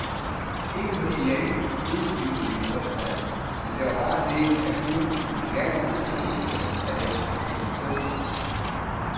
Ikke, fordi jeg ikke kunne lide min mors mad, men der var bare det, at hun i sin kærlighed ønskede, at jeg skulle spise sundt.